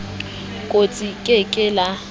kostsi le ke ke la